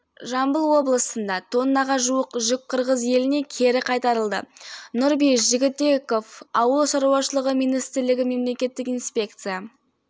заңбұзушылықтар қырғызстан республикасынан тоқтамай отыр сондықтан біз жұмысты күшейтіп отырмыз қырғыз елінен ауыл шаруашылық өніміне зиян келтіретін